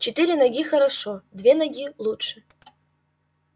четыре ноги хорошо две ноги лучше